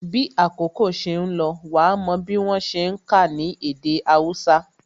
Bí àkókò ṣe ń lọ, wa mò bí wọ́n ṣe ń ka ní èdè Hausa